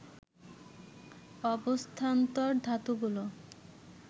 অবস্থান্তর ধাতুগুলো